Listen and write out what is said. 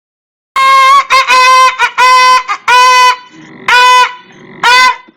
zere inye ọgwụ agwụla oge maọbụ ọgwụ e kweghị e kweghị ka a jiri ya mee ihe n’anụ ọkụkọ na-egosi ọrịa.